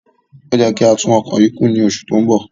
Ó yẹ kí á tún ọkọ̀ yìí kùn ní oṣù tí ó ń bọ̀.